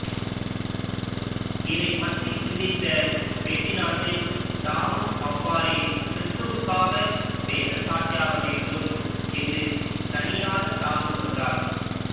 இதைப் பற்றி சிந்தித்த பெர்டிணாண்டு தாமும் அவ்வாறே கிறிஸ்துவுக்காக வேத சாட்சியாக வேண்டும் என்று தணியாதத் தாகம் கொண்டார்